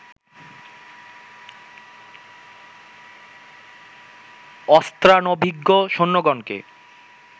অস্ত্রানভিজ্ঞ সৈন্যগণকে